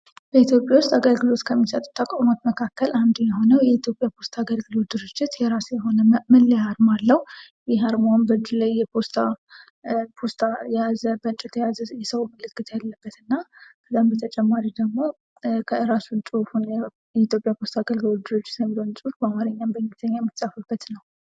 በኢትዮጵያ ውስጥ አገልግሎት ከሚሰጥ ተቋማት መካከል አንዱ የሆነው የኢትዮጵያ ፖስታ አገልግሎት ድርጅት የሆነ መለያ ፖስታ አገልግሎት ድርጅት በአማርኛ በእንግሊዘኛ የተጻፈበት ነው